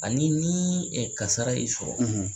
Ani ni ka kara sɔrɔ